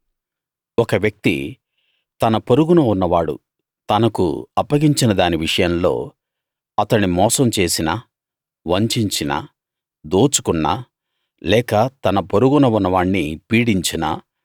ఒక వ్యక్తి తన పొరుగున ఉన్నవాడు తనకు అప్పగించిన దాని విషయంలో అతణ్ణి మోసం చేసినా వంచించినా దోచుకున్నా లేక తన పొరుగున ఉన్నవాణ్ణి పీడించినా